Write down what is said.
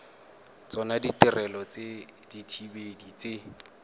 tsona ditirelo tsa dithibedi tse